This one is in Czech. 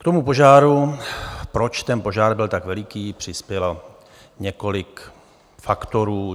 K tomu požáru, proč ten požár byl tak veliký, přispělo několik faktorů.